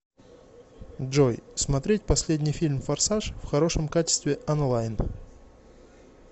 джой смотреть последний фильм форсаж в хорошем качестве онлайн